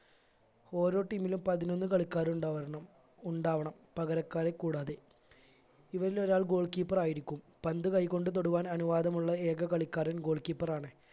ഓരോ team ലും പതിനൊന്ന് കളിക്കാർ ഉണ്ടാവരണം ഉണ്ടാവണം പകരക്കാരെ കൂടാതെ ഇവരിലൊരാൾ goal keeper ആയിരിക്കും പന്ത് കൈകൊണ്ട് തൊടുവാൻ അനുവാദമുള്ള ഏക കളിക്കാരൻ goal keeper ആണ്